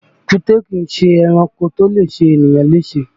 Èkúté kìí ṣe ẹranko tó lè ṣe ènìyàn léṣe